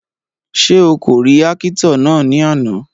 Ṣé o kò rí ákítọ̀ náà ní àná?